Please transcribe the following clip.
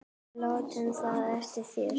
Og láttu það eftir þér.